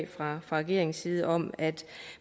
fra regeringens side om at